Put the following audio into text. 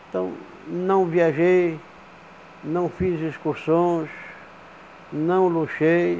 Então, não viajei, não fiz excursões, não luxei.